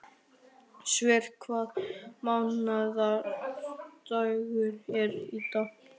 Sverre, hvaða mánaðardagur er í dag?